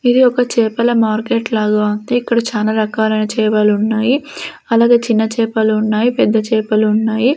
ఇది ఒక చేపల మార్కెట్ లాగా ఉంది ఇక్కడ చాలా రకాలైన చేపలున్నాయి అలాగే చిన్న చేపలు ఉన్నాయి పెద్ద చేపలు ఉన్నాయి.